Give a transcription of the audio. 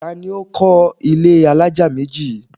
Ta ni ó kọ́ ilé alájà méjì yìí?